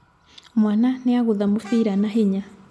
Mwana nĩagũtha mũbira na hinya.